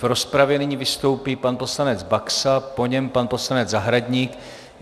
V rozpravě nyní vystoupí pan poslanec Baxa, po něm pan poslanec Zahradník.